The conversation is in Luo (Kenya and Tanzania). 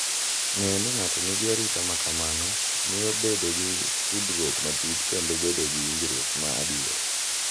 Ng’eyo ni ng’ato nigi arita ma kamano miyo bedo gi tudruok matut kendo bedo gi winjruok ma adier.